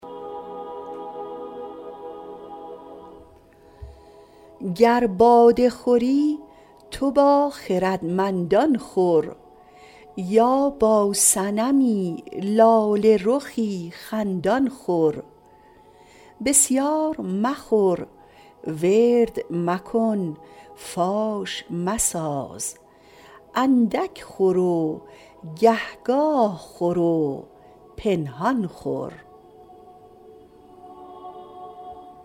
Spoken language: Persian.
گر باده خوری تو با خردمندان خور یا با صنمی لاله رخی خندان خور بسیار مخور ورد مکن فاش مساز اندک خور و گهگاه خور و پنهان خور